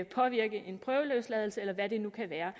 påvirkning af en prøveløsladelse eller hvad det nu kan være